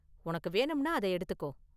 உனக்கு வேணும்னா அதை எடுத்துக்கோ.